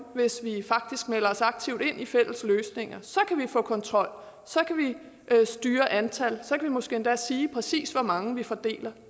hvis vi faktisk melder os aktivt ind i fælles løsninger så kan vi få kontrol så kan vi styre antallet så kan vi måske endda sige præcis hvor mange vi fordeler